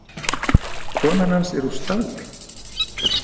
Konan hans er úr stáli.